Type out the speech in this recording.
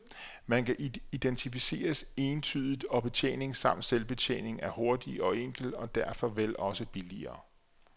Man kan identificeres entydigt, og betjening samt selvbetjening er hurtig og enkel og derfor vel også billigere.